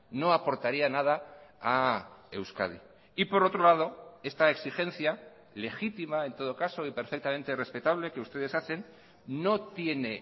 no aportaría nada a euskadi y por otro lado esta exigencia legítima en todo caso y perfectamente respetable que ustedes hacen no tiene